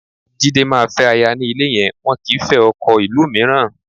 Jide, má fẹ́ aya ní ilé yẹn, wọn kì í fẹ́ ọkọ ìlú mìíràn